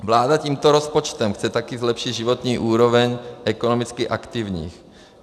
Vláda tímto rozpočtem chce také zlepšit životní úroveň ekonomicky aktivních.